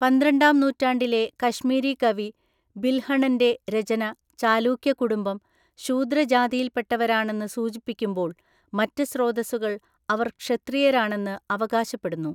പന്ത്രണ്ടാം നൂറ്റാണ്ടിലെ കശ്മീരി കവി ബിൽഹണന്‍റെ രചന ചാലൂക്യകുടുംബം ശൂദ്ര ജാതിയിൽപ്പെട്ടവരാണെന്നു സൂചിപ്പിക്കുമ്പോള്‍ മറ്റ് സ്രോതസ്സുകൾ അവർ ക്ഷത്രിയരാണെന്ന് അവകാശപ്പെടുന്നു.